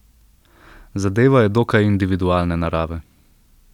Zadeva je dokaj individualne narave.